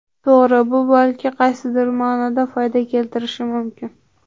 To‘g‘ri, bu balki qaysidir ma’noda foyda keltirishi mumkin.